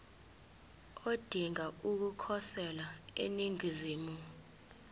odinga ukukhosela eningizimu